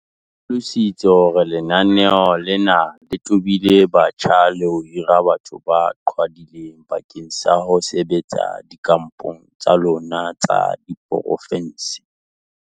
O hlalositse hore lenaneo lena le tobile batjha le ho hira batho ba qhwadileng bakeng sa ho sebetsa dikampong tsa lona tsa diporofense.